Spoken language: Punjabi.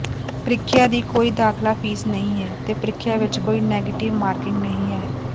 ਪ੍ਰੀਖਿਆ ਦੀ ਕੋਈ ਦਾਖਲਾ ਫੀਸ ਨਹੀਂ ਹੈ ਤੇ ਪ੍ਰੀਖਿਆ ਵਿੱਚ ਕੋਈ ਨੈਗੇਟਿਵ ਮਾਰਕਿੰਗ ਨਹੀਂ ਹੈ